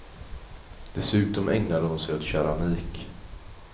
Dessutom ägnade hon sig åt keramik.